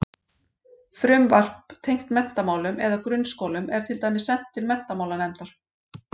Frumvarp tengt menntamálum eða grunnskólum er til dæmis sent til menntamálanefndar.